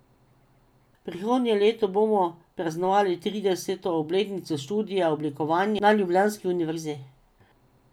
Prihodnje leto bomo praznovali trideseto obletnico študija oblikovanja na ljubljanski univerzi.